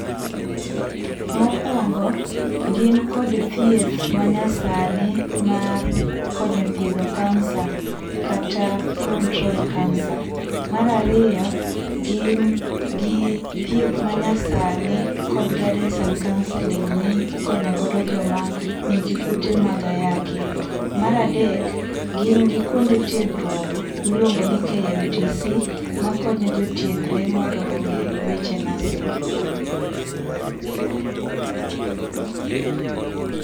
Mokuongo gin kod thieth manyasani mar konyo thiedho kansa kata control kansa. Mar ariyo gin gi thieth manyasani kod guidance and counselling mikonyo go joma nigi kute mag ayaki. Mar adek gin gi kuonde tiegruok miluongo ni KMTC makonyo jotiegre mondo onge weche nursing